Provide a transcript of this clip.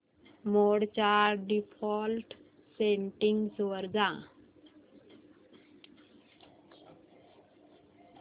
मोड च्या default settings वर जा